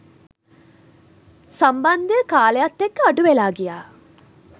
සම්බන්ධය කාලයත් එක්ක අඩුවෙලා ගියා.